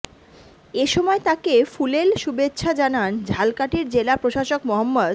এ সময় তাঁকে ফুলেল শুভেচ্ছা জানান ঝালকাঠির জেলা প্রশাসক মো